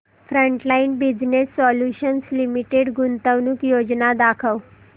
frontline business solutions limited गुंतवणूक योजना दाखव